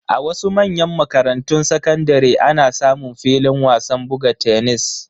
A wasu manyan makarantun sakandare ana samun filin wasan buga tenis.